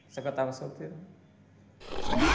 Só que eu tava solteiro, né?